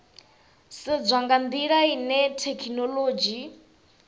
sedzwa nga ndila ine thekhinolodzhi